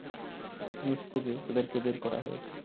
নিচ থেকে এদেরকে বের করা হয়েছে